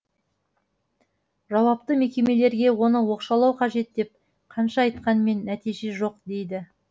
жауапты мекемелерге оны оқшаулау қажет деп қанша айтқанмен нәтиже жоқ дейді